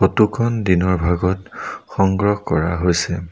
Photo খন দিনৰ ভাগত সংগ্ৰহ কৰা হৈছে।